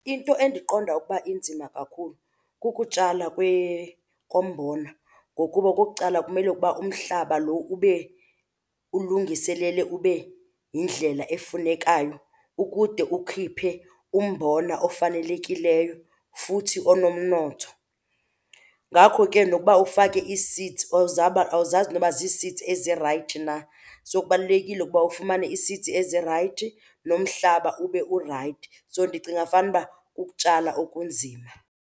Into endiqonda ukuba inzima kakhulu kukutshala kombona ngokuba okukuqala kumele ukuba umhlaba lo ube ulungiselele ube yindlela efunekayo ukude ukhiphe umbona ofanelekileyo futhi onomnotho. Ngakho ke nokuba ufake ii-seeds, awuzazi noba zii-seeds ezirayithi na, so kubalulekile ukuba ufumane ii-seeds ezirayithi nomhlaba ube urayithi. So ndicinga fanuba kukutshala okunzima.